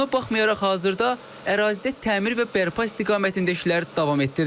Buna baxmayaraq hazırda ərazidə təmir və bərpa istiqamətində işlər davam etdirilir.